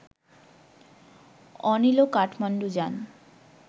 অনিলও কাঠমাণ্ডু যান